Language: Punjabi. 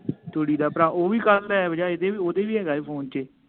ਤੁਰੀ ਦਾ ਭਰਾ ਓਵੀ ਕਲ ਐੱਪ ਜਾ ਇਦੇ ਵੀ ਓਦੇ ਵੀ ਹੇਗਾ ਹੀ ਫੋਨ ਚ